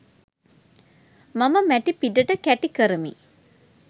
මම මැටි පිඩට කැටි කරමි